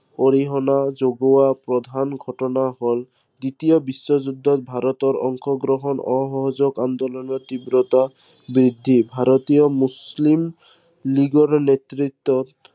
অৰিহণা যোগোৱা প্ৰধান ঘটনা হল, দ্বিতীয় বিশ্ব যুদ্ধত ভাৰতৰ অংশগ্ৰহণ, অসহযোগ আন্দোলনৰ তীব্ৰতা বৃদ্ধি, ভাৰতীয় মুছলিম, লীগৰ নেতৃত্বত